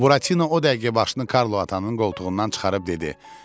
Buratino o dəqiqə başını Karlo atanın qoltuğundan çıxarıb dedi: